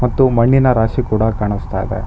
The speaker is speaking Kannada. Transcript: ಮತ್ತು ಮಣ್ಣಿನ ರಾಶಿ ಕೂಡ ಕಾನಸ್ತಾ ಇದೆ.